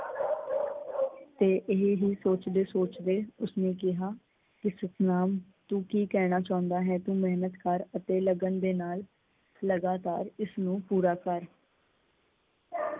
ਤੇ ਇਹੀ ਸੋਚਦੇ ਸੋਚਦੇ ਉਸ ਨੇ ਕਿਹਾ ਕੀ ਸਤਨਾਮ ਤੂੰ ਕੀ ਕਹਿਣਾ ਚਾਹੁੰਦਾ ਹੈ? ਤੂੰ ਮਿਹਨਤ ਕਰ ਅਤੇ ਲਗਨ ਦੇ ਨਾਲ ਲਗਾਤਾਰ ਇਸਨੂੰ ਪੂਰਾ ਕਰ।